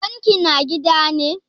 Baban ki na gida ne?